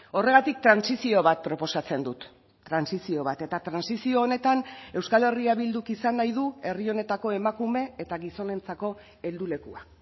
horregatik trantsizio bat proposatzen dut trantsizio bat eta trantsizio honetan euskal herria bilduk izan nahi du herri honetako emakume eta gizonentzako heldulekua